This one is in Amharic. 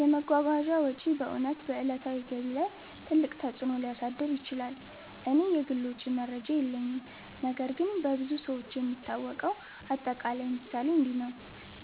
የመጓጓዣ ወጪ በእውነት በዕለታዊ ገቢ ላይ ትልቅ ተፅእኖ ሊያሳድር ይችላል። እኔ የግል ወጪ መረጃ የለኝም ነገር ግን በብዙ ሰዎች የሚታወቀው አጠቃላይ ምሳሌ እንዲህ ነው፦